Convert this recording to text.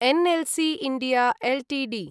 NLC India Ltd